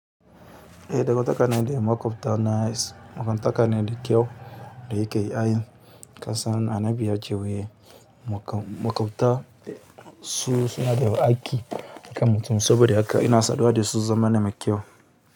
Eh dangantaka na da maƙwabta na, danganta kane da kyau da yake ai kasan annabi ya ce wai maƙwabta su suna da haƙƙi kan mutum, saboda haka ina saduwa da su zamane mai kyau.